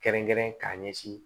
Kɛrɛnkɛrɛn k'a ɲɛsin